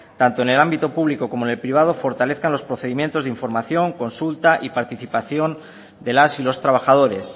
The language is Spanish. tanto en el ámbito público como en el privado fortalezcan los procedimientos de información consulta y participación de las y los trabajadores